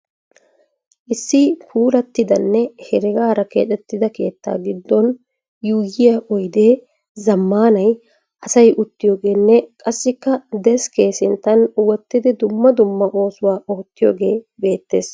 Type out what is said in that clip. Issi puulattidanne heregaara keexettida keetta giddon yuuyyiya oyidee zammaanay asay uttiyogeenne qassikka deskke sintan wottidi dumma dumma oosuwa oottiyogee beettes.